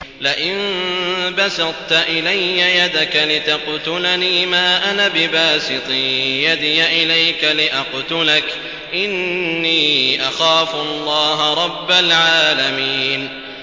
لَئِن بَسَطتَ إِلَيَّ يَدَكَ لِتَقْتُلَنِي مَا أَنَا بِبَاسِطٍ يَدِيَ إِلَيْكَ لِأَقْتُلَكَ ۖ إِنِّي أَخَافُ اللَّهَ رَبَّ الْعَالَمِينَ